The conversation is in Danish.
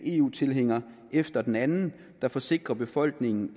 eu tilhænger efter den anden der forsikrer befolkningen